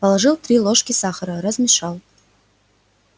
положил три ложки сахара размешал